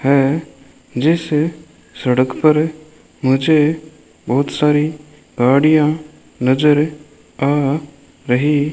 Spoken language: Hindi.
है जिस सड़क पर मुझे बहुत सारी गाड़ियां नजर आ रही --